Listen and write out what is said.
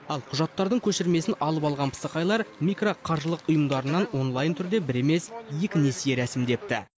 ал құжаттардың көшірмесін алып алған пысықайлар микроқаржылық ұйымдарынан онлайн түрде бір емес екі несие рәсімдепті